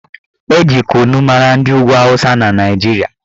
Eji kunu mara ndị ugwu awụsa na Naijiria